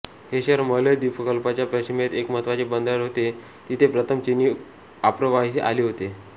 हे शहर मलय द्वीपकल्पाच्या पश्चिमेस एक महत्त्वाचे बंदर होते जिथे प्रथम चीनी आप्रवासी आले होते